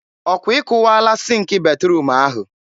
ọ kwa ị kụwaala sịnk batruum ahụ?